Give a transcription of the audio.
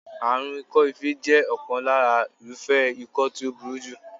Àrùn ikọ́-ife jẹ́ ọ̀kan lára irúfẹ́ ikọ́ tí ó burú jù.